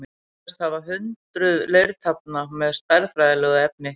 Varðveist hafa hundruð leirtaflna með stærðfræðilegu efni.